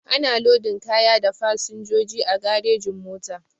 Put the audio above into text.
Ana lodin kaya da fasinjoji a garejin-mota.